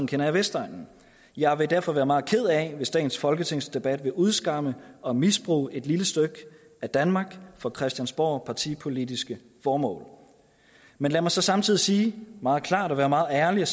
kender jeg vestegnen jeg vil derfor være meget ked af det hvis dagens folketingsdebat vil udskamme og misbruge et lille stykke af danmark for christiansborgpartipolitiske formål men lad mig så samtidig sige meget klart og være meget ærlig